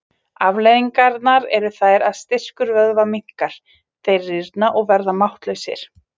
Afleiðingarnar eru þær að styrkur vöðva minnkar, þeir rýrna og verða máttlausir.